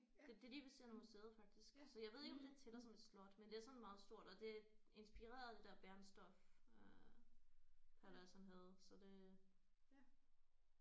Det det er lige ved siden af museet faktisk så jeg ved ikke om det tæller som et slot men det er sådan meget stort og det er inspireret af det der Bernstorff øh palads han havde så det